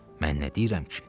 Mən nə deyirəm ki?